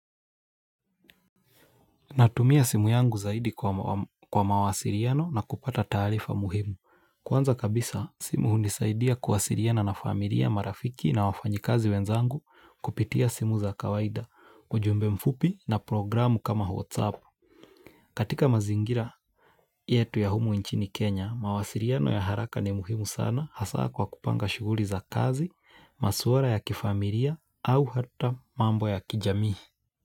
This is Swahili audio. Natumia simu yangu zaidi kwa mawasiliano na kupata taarifa muhimu. Kwanza kabisa, simu unisaidia kuwasiliana na familia marafiki na wafanyikazi wenzangu kupitia simu za kawaida, ujumbe mfupi na programu kama Whatsapp. Katika mazingira yetu ya humu inchini Kenya, mawasiliano ya haraka ni muhimu sana hasa kwa kupanga shughuli za kazi, masuala ya kifamilia au hata mambo ya kijamii.